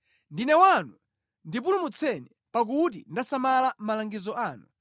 Ndine wanu, ndipulumutseni; pakuti ndasamala malangizo anu.